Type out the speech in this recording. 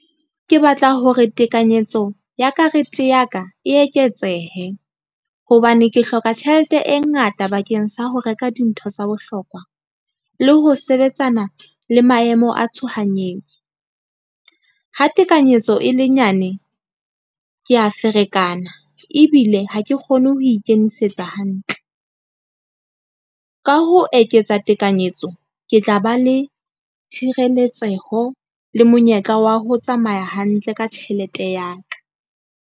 Ke batla hore tekanyetso ya karete ya ka e eketsehe. Hobane ke hloka tjhelete e ngata bakeng sa ho reka dintho tsa bohlokwa le ho sebetsana le maemo a tshohanyetso. Ha tekanyetso e le nyane, ke a ferekana ebile ha ke kgone ho ikemisetsa hantle. Ka ho eketsa tekanyetso, ke tla ba le tshireletseho le monyetla wa ho tsamaya hantle ka tjhelete ya ka.